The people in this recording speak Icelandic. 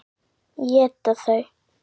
Éta þau?